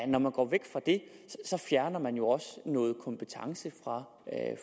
når man går væk fra det fjerner man jo også noget kompetence fra